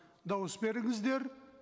дауыс беріңіздер